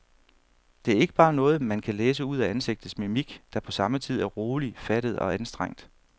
Det er ikke bare noget, man kan læse ud af ansigtets mimik, der på samme tid er rolig, fattet og anstrengt.